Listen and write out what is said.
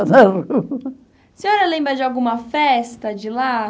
A senhora lembra de alguma festa de lá?